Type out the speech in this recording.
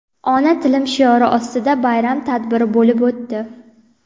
ona tilim shiori ostida bayram tadbiri bo‘lib o‘tdi.